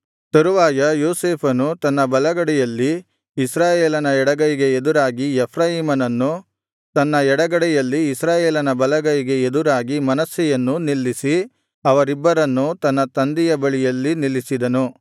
ತರುವಾಯ ಯೋಸೇಫನು ತನ್ನ ಬಲಗಡೆಯಲ್ಲಿ ಇಸ್ರಾಯೇಲನ ಎಡಗೈಗೆ ಎದುರಾಗಿ ಎಫ್ರಾಯೀಮನನ್ನೂ ತನ್ನ ಎಡಗಡೆಯಲ್ಲಿ ಇಸ್ರಾಯೇಲನ ಬಲಗೈಗೆ ಎದುರಾಗಿ ಮನಸ್ಸೆಯನ್ನೂ ನಿಲ್ಲಿಸಿ ಅವರಿಬ್ಬರನ್ನೂ ತನ್ನ ತಂದೆಯ ಬಳಿ ನಿಲ್ಲಿಸಿದನು